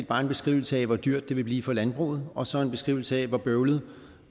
bare en beskrivelse af hvor dyrt det vil blive for landbruget og så en beskrivelse af hvor bøvlet